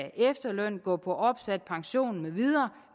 efterløn gå på opsat pension mv